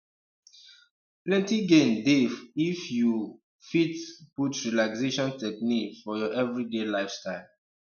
plenty gain dey if you um fit put relaxation technique for your everyday lifestyle